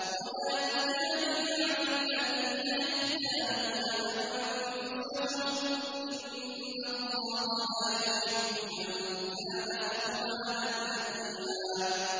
وَلَا تُجَادِلْ عَنِ الَّذِينَ يَخْتَانُونَ أَنفُسَهُمْ ۚ إِنَّ اللَّهَ لَا يُحِبُّ مَن كَانَ خَوَّانًا أَثِيمًا